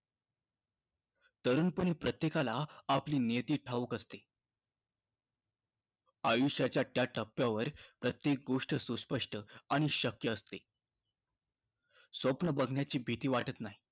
तरुणपणी प्रत्येकाला आपली नियती ठाऊक असते. आयुष्याच्या त्या टप्प्यावर प्रत्येक गोष्ट सुस्पष्ट आणि शक्य असते. स्वप्न बघण्याची भीती वाटत नाही.